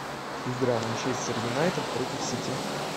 игра манчестер юнайтед против сити